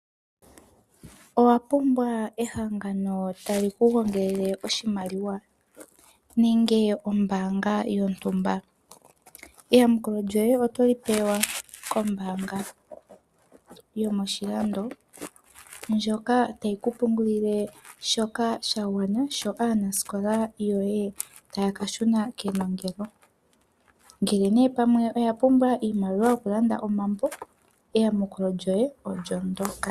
Owa pumbwa owala ehangano ta li ku gongelele oshimaliwa, nenge ombaanga yontumba. Eyamukulo lyoye oto li pewa kombaanga yomoshilando ndyoka ta yi ku pungulile shoka sha gwana sho aanasikola yo ye ta ya kashuna kenongelo. Ngele oya pumbwa iimaliwa yoku ka landa omambo, eyamukulo lyo ye olyo ndyoka.